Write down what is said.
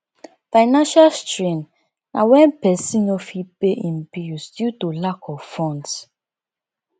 financial strain na wen person no fit pay im bills due to lack of funds